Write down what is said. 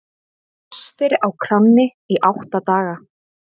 Fastir á kránni í átta daga